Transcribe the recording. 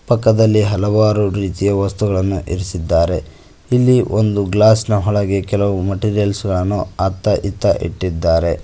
ಪಕ್ಕದಲ್ಲಿ ಹಲವಾರು ರೀತಿಯ ವಸ್ತುಗಳನ್ನ ಇರಿಸಿದ್ದಾರೆ ಇಲ್ಲಿ ಒಂದು ಗ್ಲಾಸ್ ನ ಒಳಗೆ ಕೆಲವು ಮೆಟೀರಿಯಲ್ಸ್ ಗಳನ್ನು ಅತ್ತ ಇತ್ತ ಇಟ್ಟಿದ್ದಾರೆ.